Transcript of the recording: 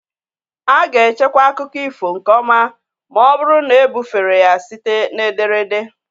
A ga-echekwa akụkọ ifo nke ọma ma ọ bụrụ na ebufere ya site na ederede.